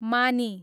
मानी